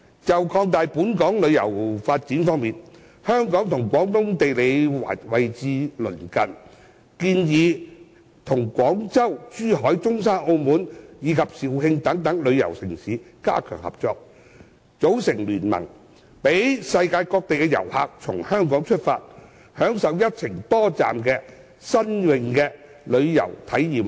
就擴大本港旅遊發展方面，香港與廣東地區位置鄰近，建議與廣州、珠海、中山、澳門和肇慶等旅遊城市加強合作，組成聯盟，讓世界各地的旅客可從香港出發，享受一程多站的新穎旅遊體驗方案。